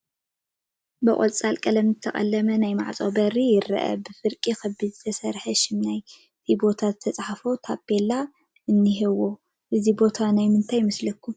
ብቆፃል ቀለም ዝተቐለመ ናይ ማዕፆ በሪ ይረአ፡፡ ብፍርቂ ክቢ ዝተስርሐ ሽም ናይቲ ቦታ ዝተፃሕፎ ታቤላ እኒሄዎ፡፡ እዚ ቦታ ናይ ምንታይ ይመስለኩም?